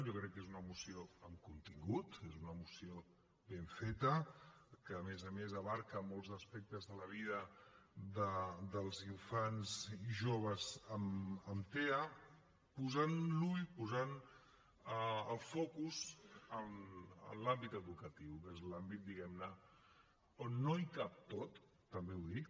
jo crec que és una moció amb contingut és una moció ben feta que a més a més abasta molts aspectes de la vida dels infants i joves amb tea posant l’ull posant el focus en l’àmbit educatiu que és l’àmbit diguem ne on no hi cap tot també ho dic